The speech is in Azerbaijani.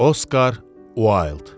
Oskar Uayld.